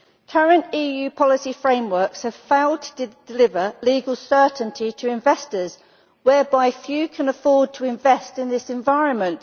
Current EU policy frameworks have failed to deliver legal certainty to investors, and few can afford to invest in this environment.